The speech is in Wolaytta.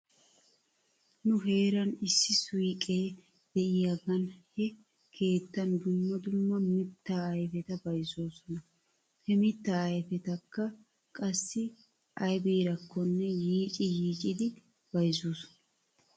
Nu heeran issi suyqee de'iyaagan he keettan dumma dumma mittaa ayfeta bayzzoosona. He mittaa ayfetakka qassi aybiirakkonne yiici yiicidi bayzzoosona.